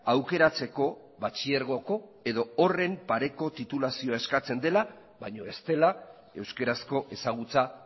aukeratzeko batxilergoko edo horren pareko titulazioa eskatzen dela baina ez dela euskarazko ezagutza